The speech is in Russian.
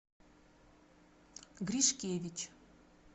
гришкевич